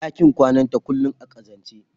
ɗakin kwanata kullum a ƙazance.